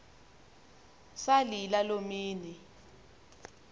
salila loo mini